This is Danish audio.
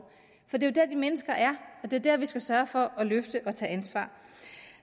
det er jo der de mennesker er og det er der vi skal sørge for at løfte og tage ansvar